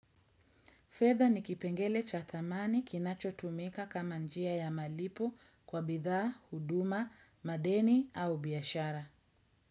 Fedha ni kipengele cha thamani kinachotumika kama njia ya malipo kwa bidhaa, huduma, madeni au biashara.